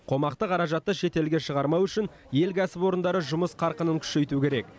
қомақты қаражатты шетелге шығармау үшін ел кәсіпорындары жұмыс қарқынын күшейту керек